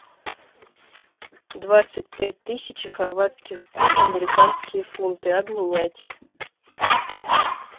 двадцать пять тысяч хорватских кун в американские фунты обменять